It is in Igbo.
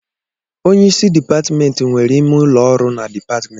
Onyeisi dịpatmentị nwere ime ụlọ ọrụ na dịpatmentị